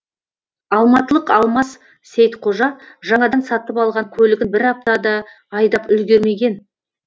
алматылық алмас сейітқожа жаңадан сатып алған көлігін бір апта да айдап үлгермеген